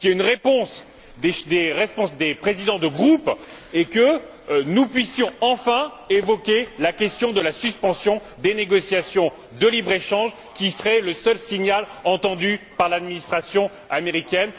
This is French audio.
Je souhaite qu'il y ait une réponse des présidents de groupe et que nous puissions enfin évoquer la question de la suspension des négociations de libre échange, qui serait le seul signal entendu par l'administration américaine.